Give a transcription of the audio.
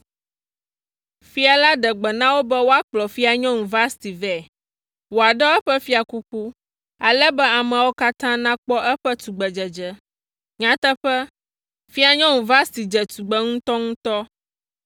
Fia la ɖe gbe na wo be woakplɔ Fianyɔnu Vasti vɛ, wòaɖɔ eƒe fiakuku, ale be ameawo katã nakpɔ eƒe tugbedzedze. Nyateƒe, Fianyɔnu Vasti dze tugbe ŋutɔŋutɔ.